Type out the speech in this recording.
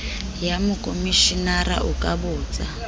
ya mokomeshenara o ka botsa